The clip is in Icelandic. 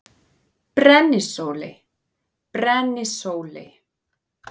Brennisóley: Brennisóley.